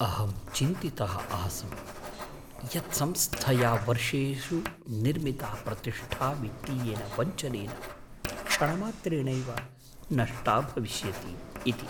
अहं चिन्तितः आसं यत् संस्थया वर्षेषु निर्मिता प्रतिष्ठा वित्तीयेन वञ्चनेन क्षणमात्रेणैव नष्टा भविष्यति इति।